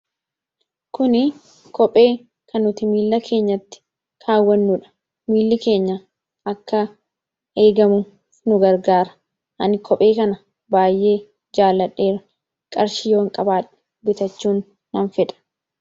Kuni kophee kan nuti miila keenyatti kaawwannuudha. miilli keenya akka eegamuuf nu gargaara. Ani kophee kana baay'ee jaaladheera. Qarshii yoon qabaadhe bitachuu nan fedha.